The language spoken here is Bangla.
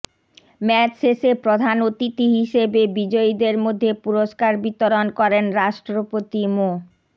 ম্যাচ শেষে প্রধান অতিথি হিসেবে বিজয়ীদের মধ্যে পুরস্কার বিতরণ করেন রাষ্ট্রপতি মো